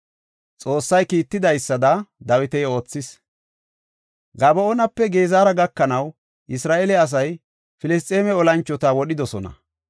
Xoossay kiitidaysada Dawiti oothis. Gaba7oonape Gezera gakanaw Isra7eele asay Filisxeeme olanchota wodhidosona.